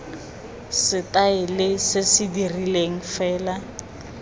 setaele se se rileng fela